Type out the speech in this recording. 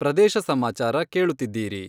ಪ್ರದೇಶ ಸಮಾಚಾರ ಕೇಳುತ್ತಿದ್ದೀರಿ........